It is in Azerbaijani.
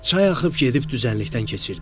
Çay axıb gedib düzənlikdən keçirdi.